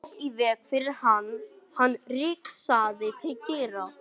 Hljóp í veg fyrir hann þegar hann rigsaði til dyranna.